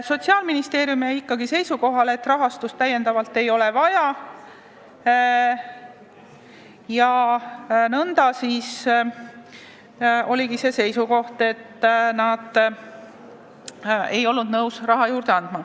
Sotsiaalministeerium jäi ikkagi seisukohale, et lisarahastust ei ole vaja, ja nõnda jäigi, et nad ei ole nõus raha juurde andma.